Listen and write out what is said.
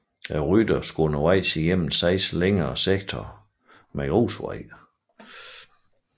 Rytterne skulle undervejs igennem seks længere sektorer med grusvej